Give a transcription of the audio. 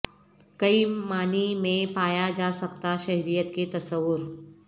کئی معانی میں پایا جا سکتا شہریت کے تصور